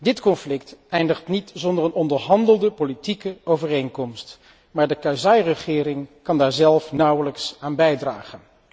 Dit conflict eindigt niet zonder een onderhandelde politieke overeenkomst, maar de regering Karzai kan daar zelf nauwelijks aan bijdragen.